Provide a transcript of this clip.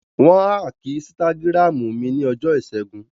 Wọ́n áàkì ísítágírámù mi ní ọjọ́ ìṣẹ́gun